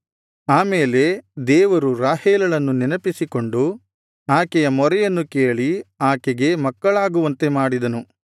ಆಮೇಲೆ ದೇವರು ರಾಹೇಲಳನ್ನು ನೆನಪಿಸಿಕೊಂಡು ಆಕೆಯ ಮೊರೆಯನ್ನು ಕೇಳಿ ಆಕೆಗೆ ಮಕ್ಕಳಾಗುವಂತೆ ಮಾಡಿದನು